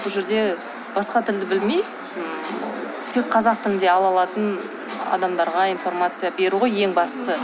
бұл жерде басқа тілді білмей тек қазақ тілінде ала алатын адамдарға информация беру ғой ең бастысы